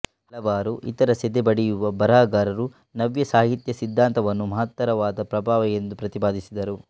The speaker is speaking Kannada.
ಹಲವಾರು ಇತರ ಸೆದೆಬಡಿಯುವ ಬರಹಗಾರರು ನವ್ಯ ಸಾಹಿತ್ಯ ಸಿದ್ಧಾಂತವನ್ನು ಮಹತ್ತರವಾದ ಪ್ರಭಾವ ಎಂದು ಪ್ರತಿಪಾದಿಸಿದರು